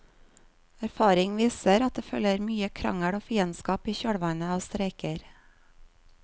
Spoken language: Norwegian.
Erfaring viser at det følger mye krangel og fiendskap i kjølvannet av streiker.